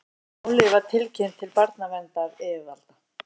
Málið var tilkynnt til barnaverndaryfirvalda